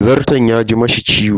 Zarton ya ji mishi ciwo.